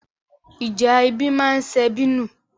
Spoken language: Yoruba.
Ìjà ẹbí ma ń sebí nù.